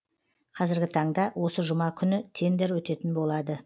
кәзіргі таңда осы жұма күні тендер өтетін болады